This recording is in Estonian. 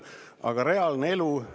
Aga reaalne elu …